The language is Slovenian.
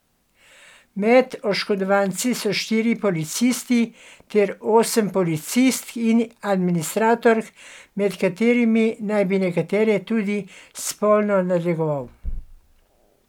Med oškodovanci so štirje policisti ter osem policistk in administratork, med katerimi naj bi nekatere tudi spolno nadlegoval.